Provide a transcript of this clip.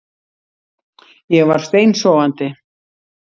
Ég var steinsofandi